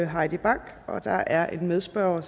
heidi bank og der er en medspørger og